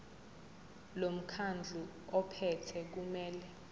lomkhandlu ophethe kumele